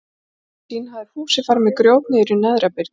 Til að hefna sín hafði Fúsi farið með grjót niður í neðra byrgið.